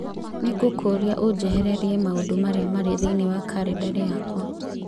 Nĩ ngũkũũria ũnjehererie maũndũ marĩa marĩ thĩinĩ wa kalendarĩ yakwa.